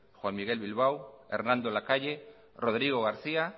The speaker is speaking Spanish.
juan miguel bilbao hernando lacalle rodrigo garcía